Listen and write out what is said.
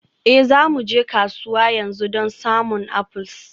Ee, za mu je kasuwa yanzu don samun apples.